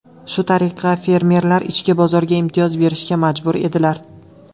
Shu tariqa, fermerlar ichki bozorga imtiyoz berishga majbur edilar.